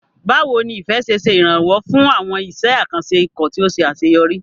Báwo ni Ife ṣe ṣe ìrànwọ́ fún àwọn iṣẹ́ àkànṣe ikọ̀ tí ó ṣe àṣeyọrí?